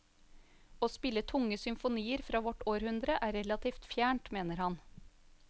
Å spille tunge symfonier fra vårt århundre er relativt fjernt, mener han.